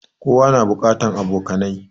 Kowa na buƙatan abokanai